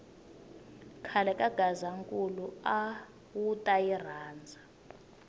khale ka gazankulu awuta yi rhandza